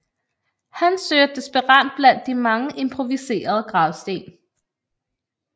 Han søger desperat blandt de mange improviserede gravsten